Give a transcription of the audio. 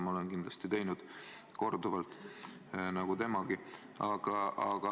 Ma olen seda korduvalt teinud nagu temagi kindlasti.